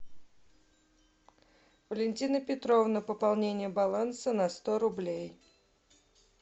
валентина петровна пополнение баланса на сто рублей